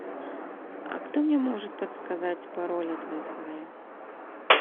а кто мне может подсказать пароль от вай фая